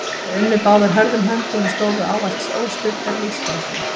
Þær unnu báðar hörðum höndum og stóðu ávallt óstuddar í lífsbaráttunni.